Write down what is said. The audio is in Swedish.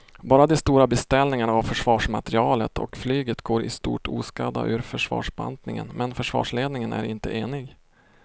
Bara de stora beställningarna av försvarsmateriel och flyget går i stort oskadda ur försvarsbantningen men försvarsledningen är inte enig.